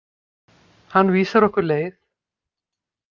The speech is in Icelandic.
Hann vísar okkur leið.